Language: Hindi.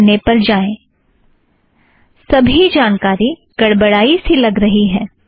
पहले पन्ने पर जाएं सबी जानकारी गड़बड़ाई सी लग रही है